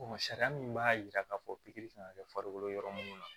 sariya min b'a yira k'a fɔ pikiri kan ka kɛ farikolo yɔrɔ munnu na